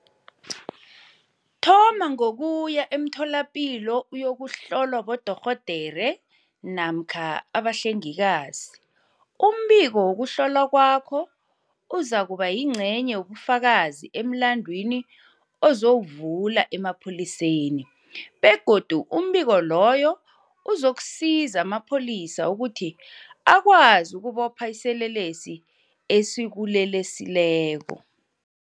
Thoma ngokuya eMtholapilo uyokuhlolwa bodorhodere namkha abahlengikazi. Umbiko wokuhlolwa kwakho uzakuba yingcenye yobufakazi emlandwini ozawuvula emapholiseni, begodu umbiko loyo uzakusiza amapholisa ukuthi akwazi ukubopha iselelesi esikuleleseleko.